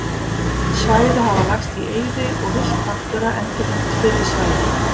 Svæði hafa lagst í eyði og villt náttúra endurheimt fyrri svæði.